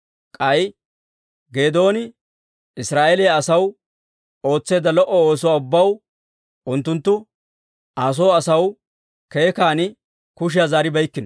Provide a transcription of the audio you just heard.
K'ay Geedooni Israa'eeliyaa asaw ootseedda lo"o oosuwaa ubbaw, unttunttu Aa soo asaw keekkan kushiyaa zaaribeykkino.